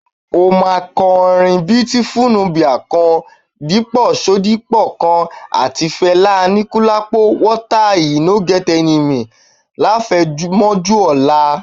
Ó máa kọrin Beautiful Nubia kan, Dípọ̀ Ṣodipọ kan, àti ti Fẹlá Aníkúlápó (water e no get enemy) láfẹ̀mọ́júmọ́ ọlá.